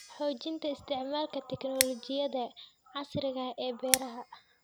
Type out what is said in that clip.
Xoojinta isticmaalka tignoolajiyada casriga ah ee beeraha.